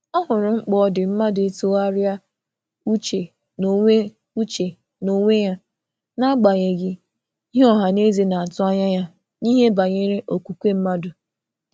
Ọ hụrụ ihe dị mkpa n’iche echiche nwayọ nwayọ, ọbụna mgbe e tụrụ anya ka e gosi okwukwe n’ihu mmadụ.